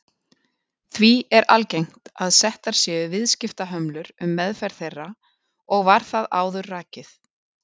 Því er algengt að settar séu viðskiptahömlur um meðferð þeirra og var það áður rakið.